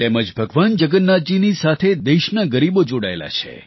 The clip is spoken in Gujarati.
તેમજ ભગવાન જગન્નાથજીની સાથે દેશના ગરીબો જોડાયેલા છે